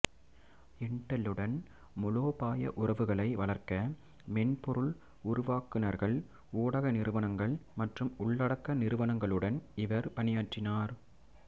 இன்டெல்லுடன் மூலோபாய உறவுகளை வளர்க்க மென்பொருள் உருவாக்குநர்கள் ஊடக நிறுவனங்கள் மற்றும் உள்ளடக்க நிறுவனங்களுடன் இவர் பணியாற்றினார்